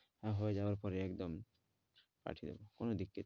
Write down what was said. আর হয়ে যাওয়ার পরে একদম পাঠিয়ে দেবো